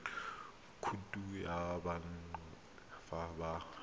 khoutu ya banka fa ba